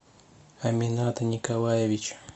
амината николаевича